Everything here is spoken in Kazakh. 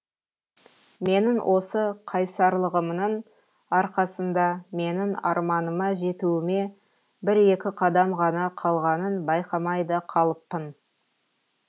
менің осы қайсарлығымның арқасында менің арманыма жетуіме бір екі қадам ғана қалғанын байқамай да қалыппын